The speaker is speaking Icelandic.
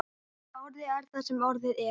En orðið er það sem orðið er.